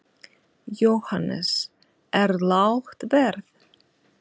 Jóhannes: Er lágt verð?